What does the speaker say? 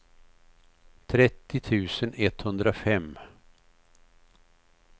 trettio tusen etthundrafem